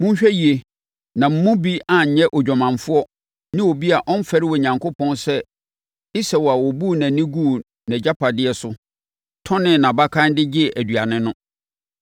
Monhwɛ yie na mo mu bi anyɛ odwamanfoɔ ne obi a ɔmfɛre Onyankopɔn sɛ Esau a ɔbuu nʼani guu nʼagyapadeɛ so tɔnee nʼabakan de gyee aduane no.